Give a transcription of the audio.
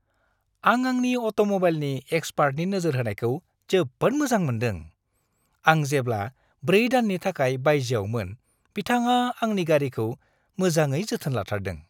आं आंनि अट'म'बाइलनि एक्सपार्टनि नोजोर होनायखौ जोबोद मोजां मोनदों, आं जेब्ला 4 दाननि थाखाय बायजोयावमोन बिथाङा आंनि गारिखौ मोजाङै जोथोन लाथारदों।